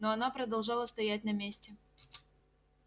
но она продолжала стоять на месте